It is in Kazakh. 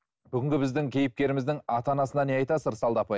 бүгінгі біздің кейіпкеріміздің ата анасына не айтасыз ырысалды апай